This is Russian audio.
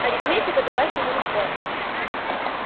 арифметика далась ему легко